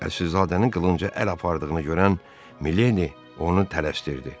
Əsilzadənin qılınca əl apardığını görən Mileni onu tələsdirirdi.